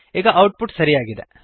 ಈಗ output ಸರಿಯಾಗಿದೆ